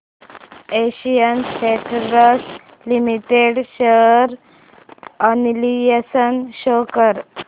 Asian Paints Limited share analysis show कर